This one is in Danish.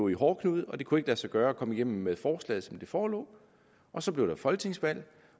i hårdknude og det kunne ikke lade sig gøre at komme igennem med forslaget som det forelå så blev der folketingsvalg